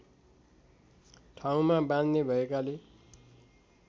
ठाउँमा बाँध्ने भएकाले